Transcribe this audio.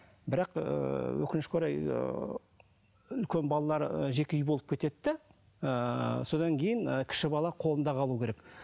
бірақ ыыы өкінішке орай ыыы үлкен балалары жеке үй болып кетеді де ыыы содан кейін ы кіші бала қолында қалуы керек